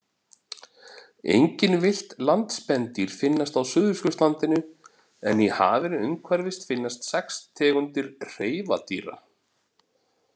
Engin villt landspendýr finnast á Suðurskautslandinu en í hafinu umhverfis finnast sex tegundir hreifadýra.